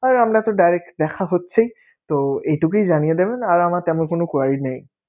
আর আমরা তো direct দেখা হচ্ছেই, তো এইটুকুই জানিয়ে দেবেন আর আমার তেমন কোন query নেই.